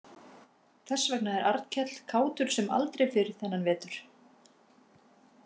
Þess vegna er Arnkell kátur sem aldrei fyrr þennan vetur.